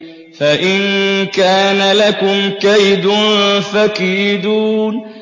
فَإِن كَانَ لَكُمْ كَيْدٌ فَكِيدُونِ